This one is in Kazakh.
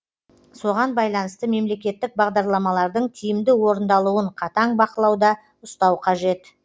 соған байланысты мемлекеттік бағдарламалардың тиімді орындалуын қатаң бақылауда ұстау қажет